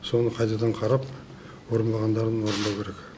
соны қайтадан қарап орынмағандарын орындау керек